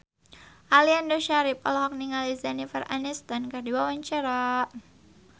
Aliando Syarif olohok ningali Jennifer Aniston keur diwawancara